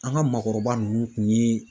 An ka maakɔrɔba nunnu tun ye